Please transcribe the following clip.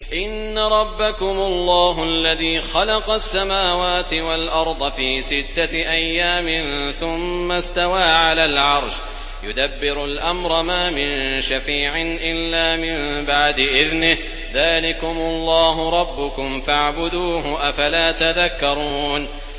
إِنَّ رَبَّكُمُ اللَّهُ الَّذِي خَلَقَ السَّمَاوَاتِ وَالْأَرْضَ فِي سِتَّةِ أَيَّامٍ ثُمَّ اسْتَوَىٰ عَلَى الْعَرْشِ ۖ يُدَبِّرُ الْأَمْرَ ۖ مَا مِن شَفِيعٍ إِلَّا مِن بَعْدِ إِذْنِهِ ۚ ذَٰلِكُمُ اللَّهُ رَبُّكُمْ فَاعْبُدُوهُ ۚ أَفَلَا تَذَكَّرُونَ